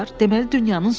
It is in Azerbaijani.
Deməli dünyanın sonudur.